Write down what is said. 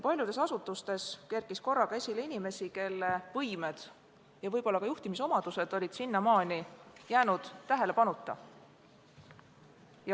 Paljudes asutustes kerkis korraga esile inimesi, kelle võimed ja võib-olla ka juhtimisomadused olid seni jäänud tähelepanuta.